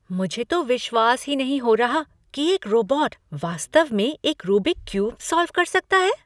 मुझे तो विश्वास ही नहीं हो रहा कि एक रोबोट वास्तव में एक रूबिक क्यूब सॉल्व कर सकता है।